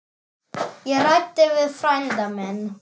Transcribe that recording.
Ég ræddi við frænda minn.